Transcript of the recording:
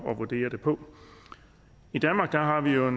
at vurdere det på i danmark har vi jo